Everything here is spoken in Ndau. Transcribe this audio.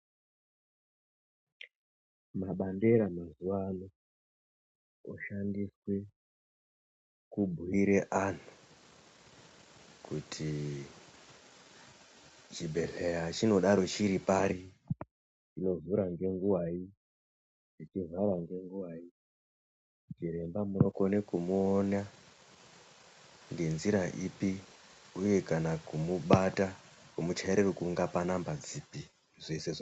Mabandera mazuwano oshandiswe kubhuyire anhu kuti chibhedhleya chinodaro chiri pari, chinovhura ngenguvai, chichivhare ngenguvai, chiremba munokone kumuona ngenzira ipi uye kana kumubata, kumuchaire rukunga panhamba dzipi, zvese zvi...